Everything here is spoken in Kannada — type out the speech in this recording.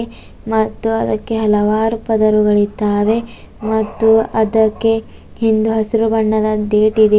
ಮತ್ತು ಅದಕ್ಕೆ ಹಲವಾರು ಪದರುಗಳಿದ್ದಾವೆ ಮತ್ತು ಅದಕ್ಕೆ ಹಿಂದೂ ಹಸಿರು ಬಣ್ಣದ ಗೇಟ್ ಇದೆ.